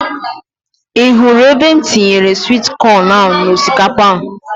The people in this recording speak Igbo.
Ị hụrụ ebe m tinyere swit kọn n'osikapa ahụ?